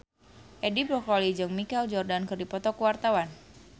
Edi Brokoli jeung Michael Jordan keur dipoto ku wartawan